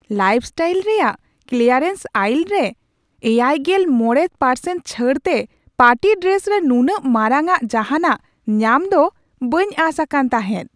Lifestyle ᱨᱮᱭᱟᱜ clearance aisle ᱨᱮ ᱗᱕% ᱪᱷᱟᱹᱲᱛᱮ ᱯᱟᱨᱴᱤ ᱰᱨᱮᱥ ᱨᱮ ᱱᱩᱱᱟᱹᱜ ᱢᱟᱨᱟᱝᱼᱟᱜ ᱡᱟᱦᱟᱱᱟᱜ ᱧᱟᱢᱫᱚ ᱵᱟᱹᱧ ᱟᱸᱥ ᱟᱠᱟᱱ ᱛᱟᱦᱮᱸᱫ ᱾